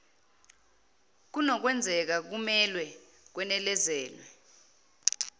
kunokwenzeka kumelwe kwenezelwe